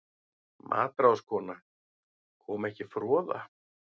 MATRÁÐSKONA: Kom ekki froða?